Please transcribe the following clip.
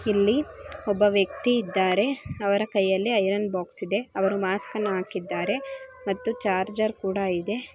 ಇಲ್ಲಿ ಒಬ್ಬ ವ್ಯಕ್ತಿ ಇದ್ದಾರೆ ಅವರ ಕೈಯಲ್ಲಿ ಐರನ್ ಬಾಕ್ಸ್ ಇದೆ ಅವರು ಮಾಸ್ಕ ನ್ನು ಹಾಕಿದ್ದಾರೆ ಮತ್ತೆ ಚಾರ್ಜರ್ ಕೂಡ ಇದೆ.